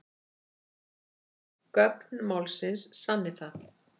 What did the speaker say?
Gögn málsins sanni það